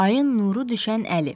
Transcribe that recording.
Ayın nuru düşən Əli.